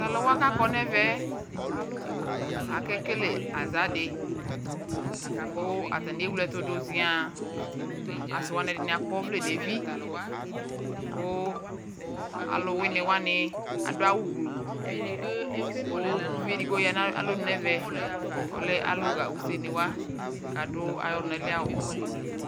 Taluwa kakɔ nɛvɛɛ akekele aʒaa di ku atani ewlee ɛtu du ʒiaaŋ asiwani ɛdini akɔ ɔvlɛ nevi kuu aluwinii wani aduawu gbluukuu uvi edigbo ya nalonu nɛvɛ ɔlɛ aluɣa useeni wa kadu ayɔlunali awu